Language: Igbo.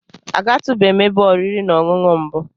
A ga tu bem ebe oriri na Ọṅụṅụ mbu.